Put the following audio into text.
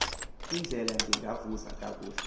indlela ndingakuvuza kakuhle